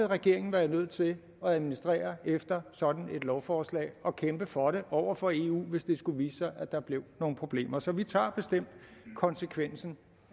regeringen være nødt til at administrere efter sådan et lovforslag og kæmpe for det over for eu hvis der skulle vise sig nogle problemer så vi tager bestemt konsekvensen